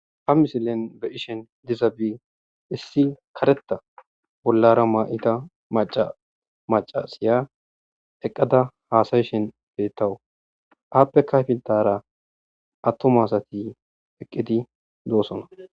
ha misilen be ishin diza bi issi kareta bollara ma7ita maca maca siya eqqada haasayishen beettawu aappe kayfiltara attomasati eqqidi doosona